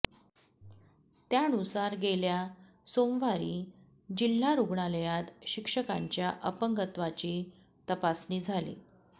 त्यानुसार गेल्या सोमवारी जिल्हा रुग्णालयात शिक्षकांच्या अपंगत्वाची तपासणी झाली